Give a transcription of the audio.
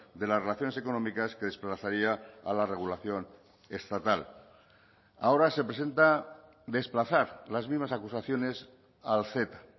de las relaciones económicas que desplazaría a la regulación estatal ahora se presenta desplazar las mismas acusaciones al ceta